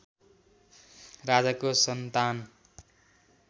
राजाको सन्तान